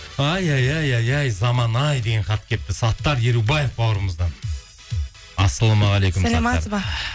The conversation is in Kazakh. ай ай ай ай ай заман ай деген хат келіпті саттар ерубаев бауырымыздан ассалаумағалейкум